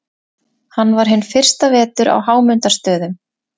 Hann var hinn fyrsta vetur á Hámundarstöðum.